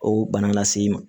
O bana lase i ma